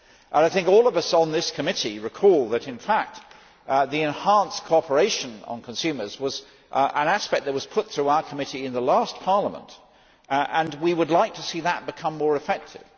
I think all of us on this committee recall that, in fact, the enhanced cooperation on consumers was an aspect that was put through our committee in the last Parliament, and we would like to see that become more effective.